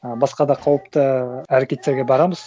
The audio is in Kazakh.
ы басқа да қауіпті әрекеттерге барамыз